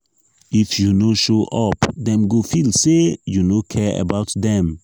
if you no show up dem go feel say you no care about dem.